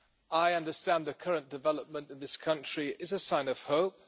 I understand the current development in this country is a sign of hope.